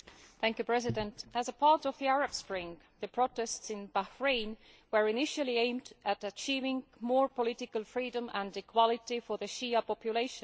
Mr President, as part of the Arab Spring, the protests in Bahrain were initially aimed at achieving more political freedom and equality for the Shia population.